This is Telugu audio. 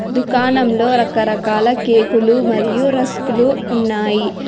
దుకాణంలో రకరకాల కేకులు మరియు రస్కులు ఉన్నాయి.